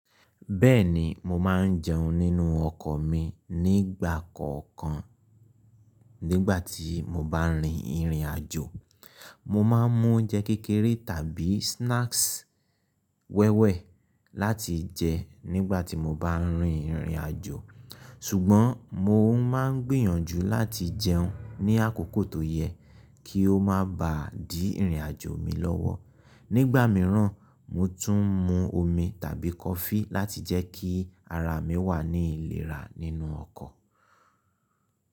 Bẹ́ẹ̀ni, mo máa ń jẹun nínú ọkọ̀ mi nígbà kọ̀ọ̀kan nígbà tí mo bá rin ìrìnàjò. Mo máa ń mú oúnjẹ kékeré tàbí snacks wẹ́wẹ́ láti jẹ nígbà tí mo bá rin ìrìnàjò. Ṣùgbọ́n mo máa ń gbìyànjú láti jẹun ní àkókò tó yẹ kí ó má ba di ìrìnàjò mi lọ́wọ́. Nígbà mìíràn, mo tún ń mú omi tàbí kọfí láti jẹ́ kí ara mi wà ní ìlera nínú ọkọ̀.